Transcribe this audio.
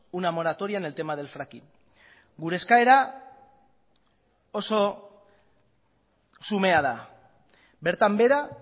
una moratoria en el tema del fraking gure eskaera oso xumea da bertan behera